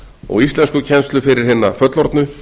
og íslenskukennslu fyrir hina fullorðnu